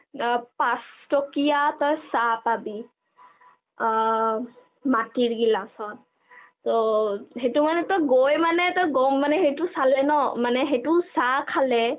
অ পাঁচটকীয়া তই চাহ পাবি , অ মাটিৰ গিলাচত তত তই গৈ মানে গম মানে সেইটো চাহ খালে